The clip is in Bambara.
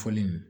Fɔli